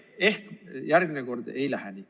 Ehk järgmine kord ei lähe nii.